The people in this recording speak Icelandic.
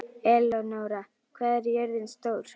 Elenóra, hvað er jörðin stór?